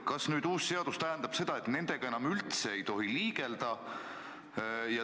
Kas nüüd uus seadus tähendab seda, et nendega üldse enam ei tohi liigelda?